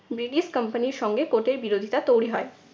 British company র সঙ্গে court এর বিরোধীতা তৈরি হয়।